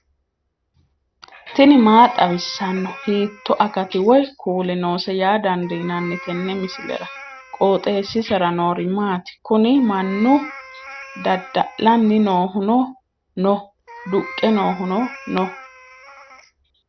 tini maa xawissanno ? hiitto akati woy kuuli noose yaa dandiinanni tenne misilera? qooxeessisera noori maati? kuni mannu dada'lanni noohuno no duqqe noohuno noo